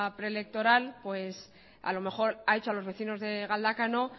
preelectoral pues a lo mejor ha dicho a los vecinos del galdácano